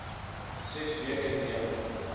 ses weke neem